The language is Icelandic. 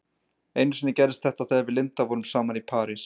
Einu sinni gerðist þetta þegar við Linda vorum saman í París.